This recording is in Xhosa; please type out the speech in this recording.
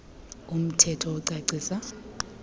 um thetho ocacisa